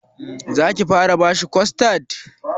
Za ki fara bashi kostad?